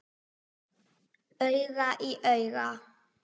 Auga í auga.